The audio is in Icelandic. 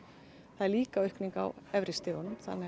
það er líka aukning á efri stigunum